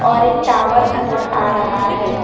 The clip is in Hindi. और एक टावर नजर आ रहा है।